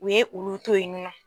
U ye olu to yen nɔ